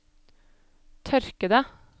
tørkede